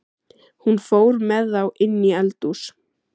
Hún fór með þá inní eldhús.